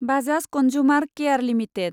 Bajaj consumer care limited